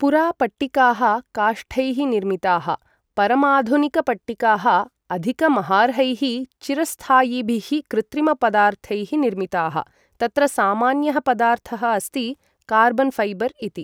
पुरा पट्टिकाः काष्ठैः निर्मिताः, परमाधुनिकपट्टिकाः अधिकमहार्हैः चिरस्थायिभिः कृत्रिमपदार्थैः निर्मिताः, तत्र सामान्यः पदार्थः अस्ति कार्बन् फैबर् इति।